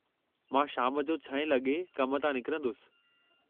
मां शाम जो 6 लॻे कम तां निकरंदुसि।